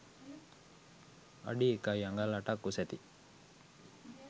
අඩි 1 අඟල් 8 ක් උසැති